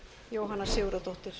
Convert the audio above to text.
jóhann sigurðardóttir